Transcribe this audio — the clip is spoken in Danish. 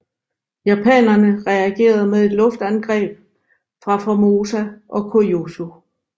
Japanerne reagerede med luftangreb fra Formosa og Kyūshū